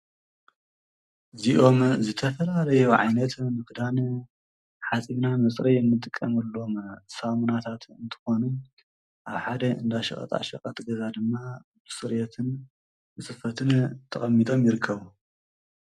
ዝኦም ዝተፈላ ለየውዓይነት ምፍዳን ሓጺግና ምጽሪ የምጥቀምሩሎም ሳሙናታት እንትኾኑ ኣብ ሓደ እንዳሽቐጣሽቐ ትገዛ ድማ ብፅሬትን ንስፈትን ተቐሚጠም ይርከዉ።